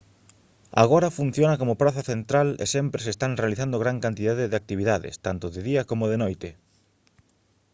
agora funciona como praza central e sempre se están realizando gran cantidade de actividades tanto de día coma de noite